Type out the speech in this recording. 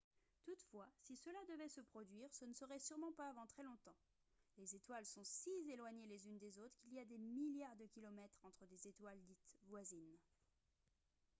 toutefois si cela devait se produire ce ne serait sûrement pas avant très longtemps les étoiles sont si éloignées les unes des autres qu'il y a des milliards de kilomètres entre des étoiles dites voisines